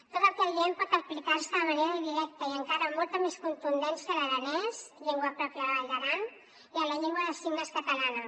tot el que diem pot aplicar se de manera directa i encara amb molta més contundència a l’aranès llengua pròpia de la vall d’aran i a la llengua de signes catalana